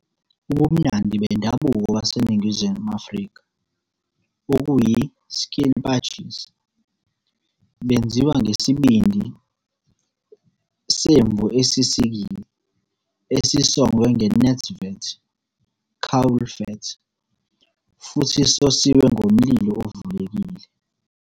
Ubumnandi bendabuko baseNingizimu Afrika, okuyi-skilpadjies, benziwa ngesibindi "semvu esisikiwe" esisongwe nge-netvet, caul fat, futhi sosiwe ngomlilo ovulekile.